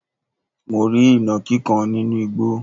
mo rí ìnàkí kan nínú igbo